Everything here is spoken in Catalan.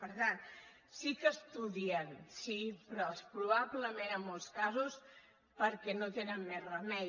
per tant sí que estudien sí però probablement en molts casos perquè no tenen més remei